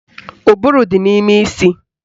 Ụbụrụ dị n'ime isi